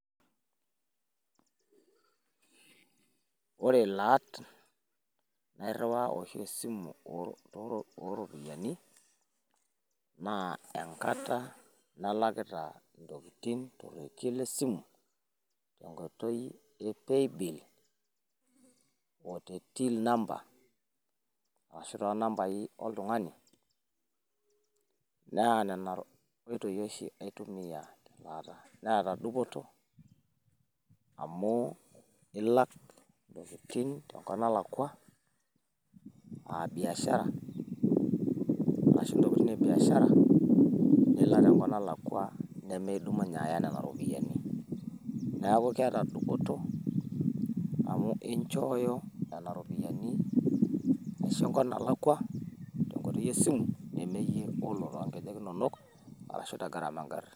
woore laat nairiwaa oshi esimu oropiyiani naa enkata nalakita ntokiting torekie lesimu tenkoitoi epaybill oo te till number arashu nambai oltungani netaa dupoto amu laak tenkop nalakua abiashara arashu ntokiting' ebiashara nimidumunye aaya nena ropiyiani